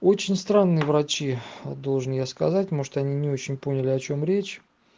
очень странные врачи а должен я сказать может они не очень поняли о чём речь